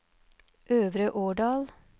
Øvre Årdal